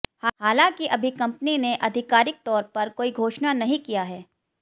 हालांकि अभी कंपनी ने अधिकारिक तौर पर कोई घोषणा नहीं किया है